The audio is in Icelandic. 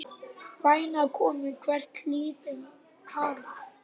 Væna konu, hver hlýtur hana?